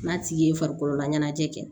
N'a tigi ye farikololaɲɛnajɛ